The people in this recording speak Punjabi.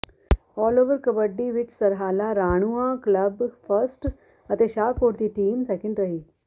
ਆਲ ਓਪਨ ਕਬੱਡੀ ਵਿਚ ਸਰਹਾਲਾ ਰਾਣੂੰਆਂ ਕਲੱਬ ਫਸਟ ਅਤੇ ਸ਼ਾਹਕੋਟ ਦੀ ਟੀਮ ਸੈਕਿੰਡ ਰਹੀ